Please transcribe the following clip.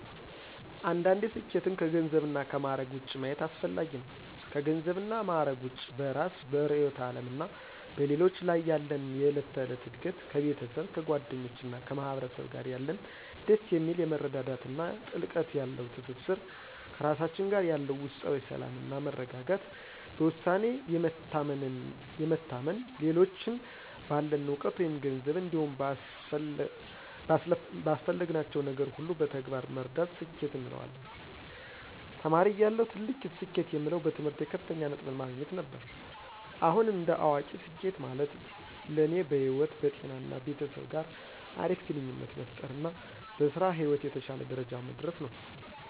አንዳንዴ ስኬትን ከገንዘብ እና ከማዕረግ ውጭ ማየት አስፈጋጊ ነው። ከገንዘብ እና ማዕረግ ውጭ በእራስ፤ በርዕዮተ ዓለም እና በሌሎች ላይ ያለን የዕለት ተዕለት እድገት፣ ከቤተሰብ፤ ከጓደኞች እና ከማህበረሰብ ጋር ያለን ደስ የሚል የመረዳዳት እና ጥልቀት ያለው ትስስር፣ ከራሳችን ጋር ያለን ውስጣዊ ሰላም እና መረጋጋት፣ በውሳኔ የመታመን፣ ሌሎችን ባለን እውቀት መይም ገንዘብ እንዲሁም ባስፈለግናቸው ነገር ሁሉ በተግባር መርዳት ስኬት እንለዋለን። ተማሪ እያለሁ ትልቅ ስኬት የምለው በትምህርቴ ከፍተኛ ነጥብን ማግኘት ነበር። አሁን እንደ አዋቂ ስኬት ማለት ለኔ በህይወት፣ በጤና እና ቤተሰብ ጋር አሪፍ ግንኙነት መፍጠር እና በስራ ህይወት የተሸለ ደረጃ መድረስ ነው።